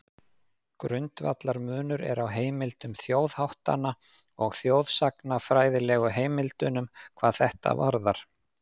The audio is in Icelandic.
Grundvallarmunur er á heimildum þjóðháttanna og þjóðsagnafræðilegu heimildunum hvað þetta varðar.